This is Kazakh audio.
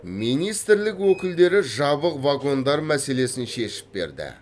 министрлік өкілдері жабық вагондар мәселесін шешіп берді